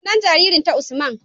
Sunan jarirnta Usman.